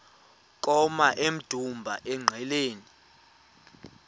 koma emdumbi engqeleni